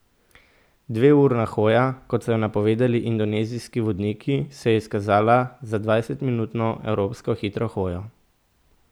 Dveurna hoja, kot so jo napovedali indonezijski vodniki, se je izkazala za dvajsetminutno evropsko hitro hojo.